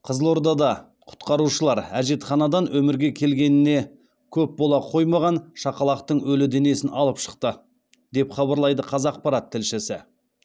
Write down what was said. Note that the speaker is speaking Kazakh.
қызылордада құтқарушылар әжетханадан өмірге келгеніне көп бола қоймаған шақалақтың өлі денесін алып шықты деп хабарлайды қазақпарат тілшісі